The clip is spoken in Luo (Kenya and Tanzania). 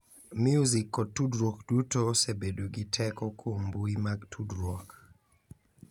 Muzik, kod tudruok duto osebedo gi teko kuom mbui mag tudruok,